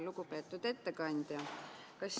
Lugupeetud ettekandja!